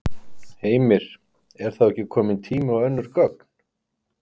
Heimir: Er þá ekki kominn tími á önnur gögn?